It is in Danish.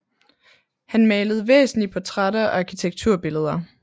Han malede væsentlig portrætter og arkitekturbilleder